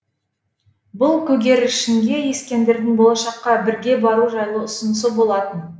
бұл көгершінге ескендірдің болашаққа бірге бару жайлы ұсынысы болатын